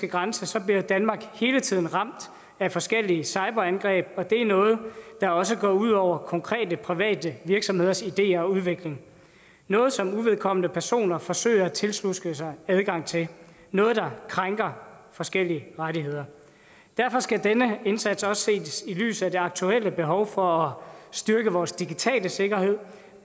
grænse så bliver danmark hele tiden ramt af forskellige cyberangreb og det er noget der også går ud over konkrete private virksomheders ideer og udvikling noget som uvedkommende personer forsøger at tiltuske sig adgang til noget der krænker forskellige rettigheder derfor skal denne indsats også ses i lyset af det aktuelle behov for at styrke vores digitale sikkerhed